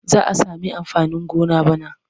Za a sami amfanin gona bana.